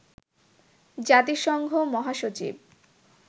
জাতিসংঘ মহাসচিব